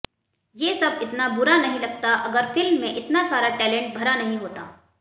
ये सब इतना बुरा नहीं लगता अगर फिल्म में इतना सारा टैलेंट भरा नहीं होता